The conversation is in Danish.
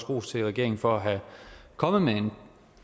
ros til regeringen for at være kommet med en